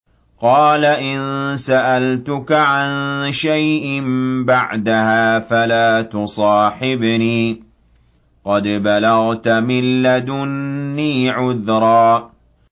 قَالَ إِن سَأَلْتُكَ عَن شَيْءٍ بَعْدَهَا فَلَا تُصَاحِبْنِي ۖ قَدْ بَلَغْتَ مِن لَّدُنِّي عُذْرًا